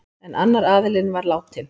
En annar aðilinn var látinn.